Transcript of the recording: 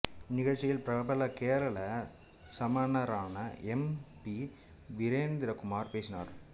இந்நிகழ்ச்சியில் பிரபல கேரள சமணரான எம் பி வீரேந்திர குமார் பேசினார்